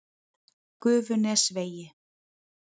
Gufunesvegi